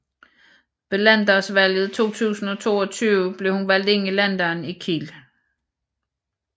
Ved landdagsvalget 2022 blev hun valgt ind i Landdagen i Kiel